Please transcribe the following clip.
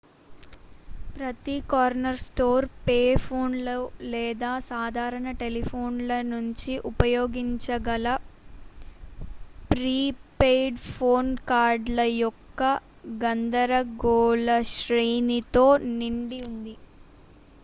ప్రతి corner store pay ఫోన్లు లేదా సాధారణ టెలిఫోన్ల నుంచి ఉపయోగించగల ప్రీ పెయిడ్ ఫోన్ కార్డుల యొక్క గందరగోళశ్రేణితో నిండి ఉంది